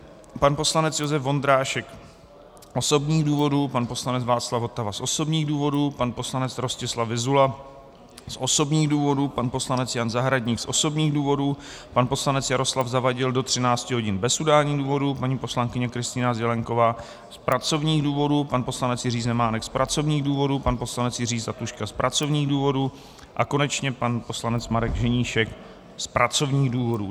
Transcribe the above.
pan poslanec Josef Vondrášek z osobních důvodů, pan poslanec Václav Votava z osobních důvodů, pan poslanec Rostislav Vyzula z osobních důvodů, pan poslanec Jan Zahradník z osobních důvodů, pan poslanec Jaroslav Zavadil do 13 hodin bez udání důvodu, paní poslankyně Kristýna Zelienková z pracovních důvodů, pan poslanec Jiří Zemánek z pracovních důvodů, pan poslanec Jiří Zlatuška z pracovních důvodů a konečně pan poslanec Marek Ženíšek z pracovních důvodů.